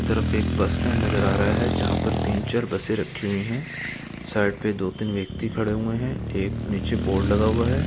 तरफ एक bus stand नज़र आ रहा है जहाँ पर तीन चार बसें रखी हुई हैं। साइड पे दो तीन व्यक्ति खड़े हुए हैं। एक नीचे बोर्ड लगा हुआ है।